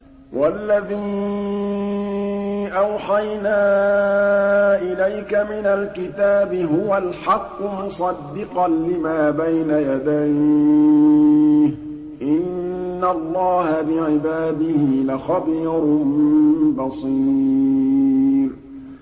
وَالَّذِي أَوْحَيْنَا إِلَيْكَ مِنَ الْكِتَابِ هُوَ الْحَقُّ مُصَدِّقًا لِّمَا بَيْنَ يَدَيْهِ ۗ إِنَّ اللَّهَ بِعِبَادِهِ لَخَبِيرٌ بَصِيرٌ